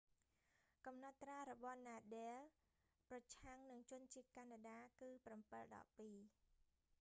កំណត់ត្រារបស់ nadal ប្រឆាំងនឹងជនជាតិកាណាដា គឺ 7-2